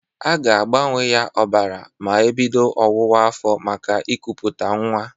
A ga-agbanye ya ọbara ma ebido ọwụwa afọ maka ịkụpụta nnwa.